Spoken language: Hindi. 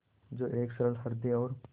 जो एक सरल हृदय और